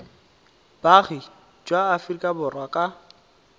boagi jwa aforika borwa ka